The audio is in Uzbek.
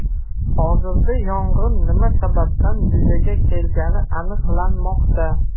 Hozirda yong‘in nima sababdan yuzaga kelgani aniqlanmoqda.